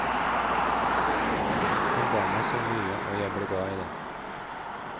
Den ga meg så mye og jeg ble glad i den.